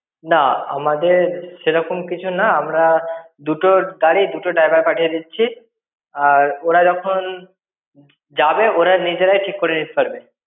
না, আমাদের সেরকম কিছু নয়। আমরা দুটো গাড়ি দুটোর driver পাঠিয়ে দিচ্ছি। আর ওরা যখন যাবে ওরা নিজেরাই ঠিক করে নিতে পারবে।